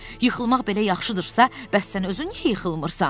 Yıxılmaq belə yaxşıdırsa, bəs sən özün niyə yıxılmırsan?